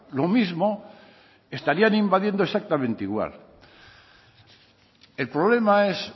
lo mismo estarían invadiendo exactamente igual el problema es